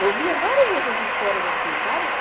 Eu via várias outras esferas assim, sabe?